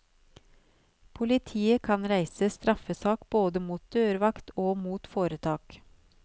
Politiet kan reise straffesak både mot dørvakt og mot foretak.